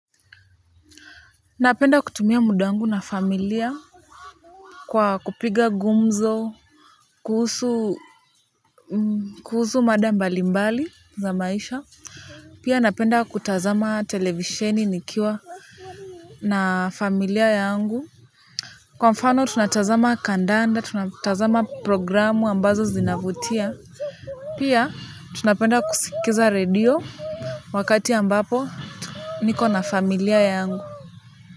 Napenda kutumia muda wangu na familia kwa kupiga gumzo kuhusu mada mbalimbali za maisha. Pia napenda kutazama televisheni nikiwa na familia yangu kwa mfano tunatazama kandanda tunatazama programu ambazo zinavutia. Pia tunapenda kusikiza radio. Wakati ambapo niko na familia yangu.